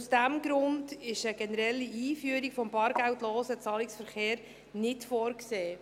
Aus diesem Grund ist eine generelle Einführung des bargeldlosen Zahlungsverkehrs nicht vorgesehen.